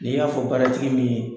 N'i y'a fɔ baaratigi min ye